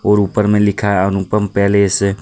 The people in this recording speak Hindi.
और ऊपर में लिखा है अनुपम पैलेस ।